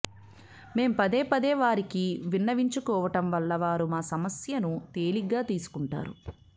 మేం పదేపదే వారికి విన్నవించుకోవడం వల్ల వారు మా సమస్యను తేలిగ్గా తీసుకుంటున్నారు